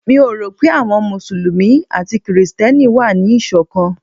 Mi ò rò pé àwọn Mùsùlùmí àti Kristẹni wà ní Ìṣọ̀kan.